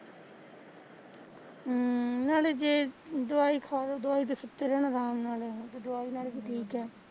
ਹਮ ਨਾਲੇ ਜੇ ਦਵਾਈ ਖਾਲੋਂ ਦਵਾਈ ਤੇ ਸੁੱਤੇ ਰਹਿਣਾ ਰਾਮ ਨਾਲ਼